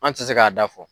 An tɛ se k'a da fɔ